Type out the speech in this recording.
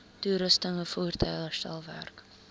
toerusting voertuie herstelwerk